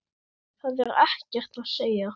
Það er ekkert að segja.